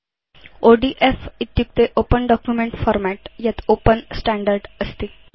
ODF इत्युक्ते open document format यत् open standard अस्ति